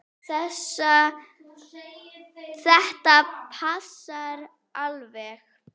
Þetta passar alveg.